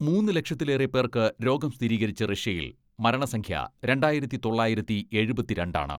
മൂന്ന് ലക്ഷത്തിലേറെ പേർക്ക് രോഗം സ്ഥിരീകരിച്ച റഷ്യയിൽ മരണസംഖ്യ രണ്ടായിരത്തി തൊള്ളായിരത്തി എഴുപത്തിരണ്ട് ആണ്.